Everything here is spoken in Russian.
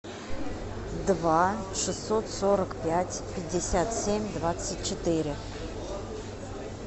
два шестьсот сорок пять пятьдесят семь двадцать четыре